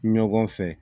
Ɲɔgɔn fɛ